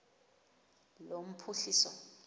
lophuhliso